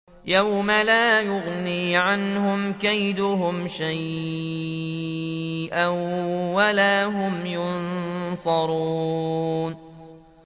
يَوْمَ لَا يُغْنِي عَنْهُمْ كَيْدُهُمْ شَيْئًا وَلَا هُمْ يُنصَرُونَ